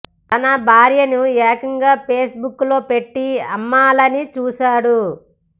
తన భార్యను ఏకంగా పేస్ బుక్ లో పెట్టి అమ్మాలని చూశాడు